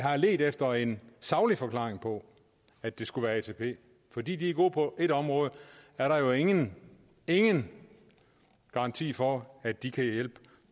har ledt efter en saglig forklaring på at det skulle være atp fordi de er gode på ét område er der jo ingen ingen garanti for at de kan hjælpe